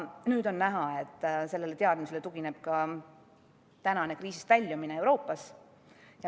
Nüüd on näha, et sellele teadmisele tugineb ka tänane kriisist väljumine Euroopas.